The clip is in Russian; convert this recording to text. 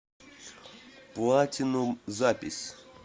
платинум запись